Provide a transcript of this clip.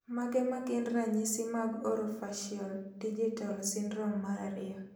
Mage magin ranyisi mag Orofaciodigital syndrome mar ariyo